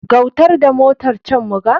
Gautar da motar can muga.